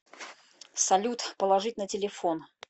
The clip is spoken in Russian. салют положить на телефон